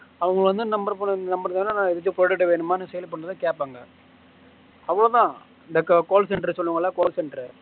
அவங்க வந்து sale பண்ணுவே கேட்பாங்க அவ்வளவுதான் இந்த call center சொல்லுவோம்ல call center